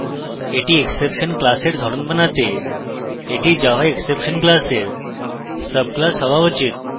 এটি exception class এর ধরন বানাতে এটি java exception class class subclass হওয়া উচিত